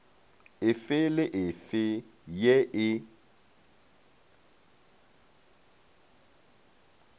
efe le efe ye e